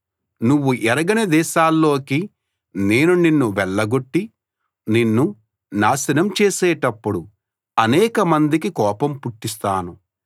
నువ్వు ఎరగని దేశాల్లోకి నేను నిన్ను వెళ్లగొట్టి నిన్ను నాశనం చేసేటప్పుడు అనేక మందికి కోపం పుట్టిస్తాను